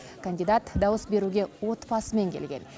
кандидат дауыс беруге отбасымен келген